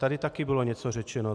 Tady také bylo něco řečeno.